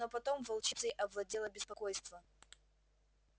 но потом волчицей овладело беспокойство